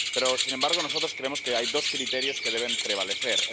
Pero, sin embargo, nosotros creemos que hay dos criterios que deben prevalecer.